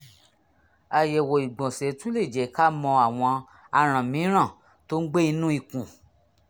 àyẹ̀wò ìgbọ̀nsẹ̀ tún lè jẹ́ ká mọ àwọn aràn mìíràn tó ń gbé inú ikùn